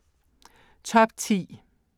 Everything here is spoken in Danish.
Top 10